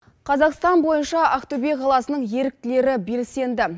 қазақстан бойынша ақтөбе қаласының еріктілері белсенді